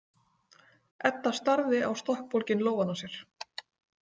Edda starði á stokkbólginn lófann á sér.